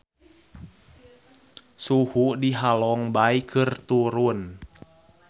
Suhu di Halong Bay keur turun